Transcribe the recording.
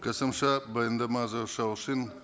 қосымша баяндама үшін